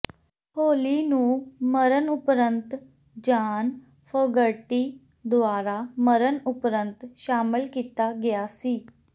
ਹੋਲੀ ਨੂੰ ਮਰਨ ਉਪਰੰਤ ਜਾਨ ਫੋਗਰਟੀ ਦੁਆਰਾ ਮਰਨ ਉਪਰੰਤ ਸ਼ਾਮਲ ਕੀਤਾ ਗਿਆ ਸੀ